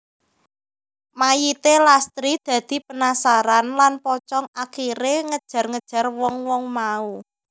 Mayité Lastri dadi penasaran lan pocong akiré ngejar ngejar wong wong mau